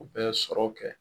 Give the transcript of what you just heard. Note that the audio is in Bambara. U bɛ sɔrɔ kɛ.